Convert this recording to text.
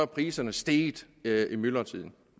priserne steget i myldretiden